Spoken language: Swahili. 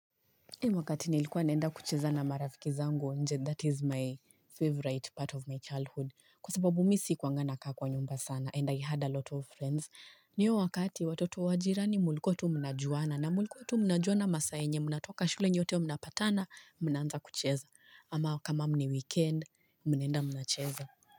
Wakati nilikuwa naenda kucheza na marafiki zangu nje that is my favorite part of my childhood Kwa sababu mimi sikuwa nakaa kwa nyumba sana and I had a lot of friends na hiyo wakati watoto wa jirani mlikuwa tu mnajuana na mlikuwa tu mnajuana masaa ambayo Mnatoka shule nyote mnapatana mnaanza kucheza ama kama ni weekend mnaenda mnacheza.